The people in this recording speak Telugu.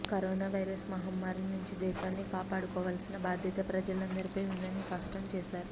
కరోనా వైరస్ మహమ్మారి నుంచి దేశాన్ని కాపాడుకోవాల్సిన బాధ్యత ప్రజలందరిపై ఉందని స్పష్టం చేశారు